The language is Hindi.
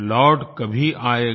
लौट कभी आएगा